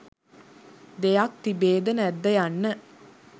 දෙයක් තිබේද නැද්ද යන්න